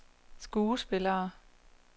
skuespillere